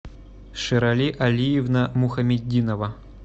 ширали алиевна мухаметдинова